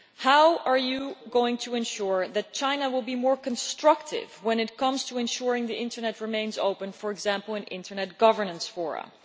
How are we going to ensure that China will be more constructive when it comes to keeping the internet open, for example in internet governance forums?